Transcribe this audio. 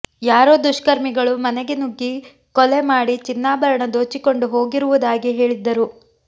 ಯಾರೋ ದುಷ್ಕರ್ಮಿಗಳು ಮನೆಗೆ ನುಗ್ಗಿ ಕೊಲೆ ಮಾಡಿ ಚಿನ್ನಾಭರಣ ದೋಚಿಕೊಂಡು ಹೋಗಿರುವುದಾಗಿ ಹೇಳಿದ್ದರು